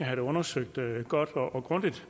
det undersøgt godt og grundigt